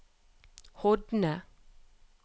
Hodne